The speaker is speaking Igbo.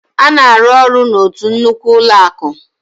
Ọ na-arụ ọrụ n'otu nnukwu ụlọakụ